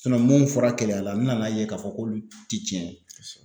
mun fɔra Keleya la n nan'a ye k'a fɔ k'olu ti tiɲɛ ye.